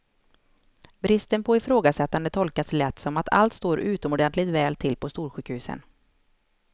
Bristen på ifrågasättande tolkas lätt som att allt står utomordentligt väl till på storsjukhusen.